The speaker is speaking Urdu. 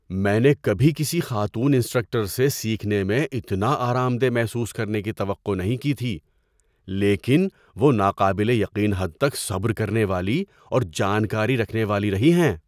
میں نے کبھی کسی خاتون انسٹرکٹر سے سیکھنے میں اتنا آرام دہ محسوس کرنے کی توقع نہیں کی تھی، لیکن وہ ناقابل یقین حد تک صبر کرنے والی اور جانکاری رکھنے والی رہی ہیں۔